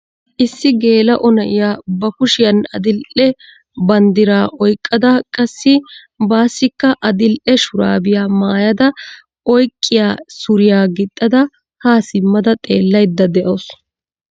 Issi gela"o na'iyaa ba kushiyan adil"e banddira oyqqada qassi baassikka adil'e shurabbaiya maayyada oyqqiya suriyaa gixada ha simmada xeellaydda de'awusu.